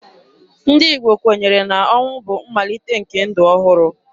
Ndị Igbo kwenyere na ọnwụ bụ mmalite nke ndụ ọhụrụ.